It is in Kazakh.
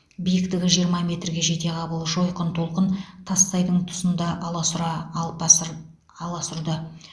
биіктігі жиырма метрге жетеғабыл жойқын толқын тассайдың тұсында аласұра алпасұр аласұрды